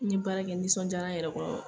N' ɲe baara kɛ n nisɔn diyara n yɛrɛ kɔrɔ.